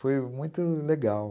Foi muito legal.